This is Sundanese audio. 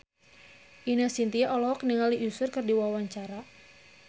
Ine Shintya olohok ningali Usher keur diwawancara